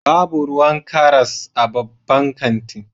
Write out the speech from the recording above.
Babu ruwan karas a babban kanti